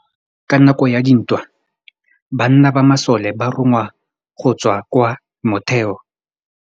Ka nakô ya dintwa banna ba masole ba rongwa go tswa kwa mothêô.